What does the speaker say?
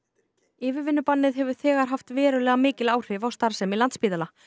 yfirvinnubannið hefur þegar haft verulega mikil áhrif á starfsemi Landspítala